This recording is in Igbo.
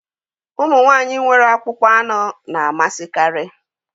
Ụmụ nwanyị nwere akpụkpọ anụ na-amasịkarị